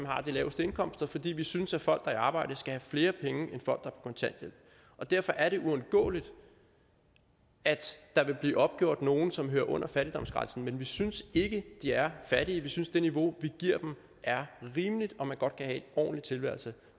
har de laveste indkomster fordi vi synes at folk der er i arbejde skal have flere penge end folk på kontanthjælp og derfor er det uundgåeligt at der vil blive opgjort nogen som hører under fattigdomsgrænsen men vi synes ikke de er fattige vi synes at det niveau vi giver dem er rimeligt og at man godt kan have en ordentlig tilværelse